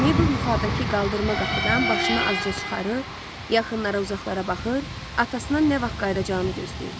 Mabel yuxarıdakı qaldırma qapıdan başını azca çıxarır, yaxınlara, uzaqlara baxır, atasının nə vaxt qayıdacağını gözləyirdi.